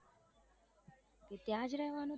તે ત્યાં જ રેવાનું છે